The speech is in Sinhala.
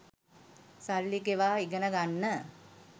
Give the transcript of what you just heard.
සල්ලි ගෙවා ඉගෙන ගන්න